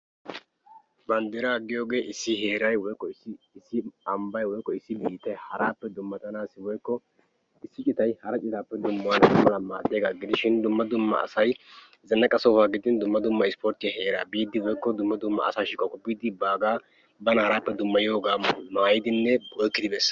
banddira giyooge issi heeray woykko issi ambbay woykko issi biittappe dummatanaw maaddiyaaga gidishin dumma dumma asay zannaqqa sohuwwangidin woykko dumma ispporttiya heera biide bana haarappe dummayanaw oyqqidi woykko ekkidi bees.